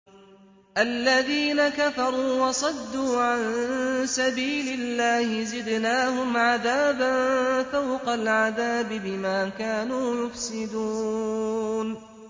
الَّذِينَ كَفَرُوا وَصَدُّوا عَن سَبِيلِ اللَّهِ زِدْنَاهُمْ عَذَابًا فَوْقَ الْعَذَابِ بِمَا كَانُوا يُفْسِدُونَ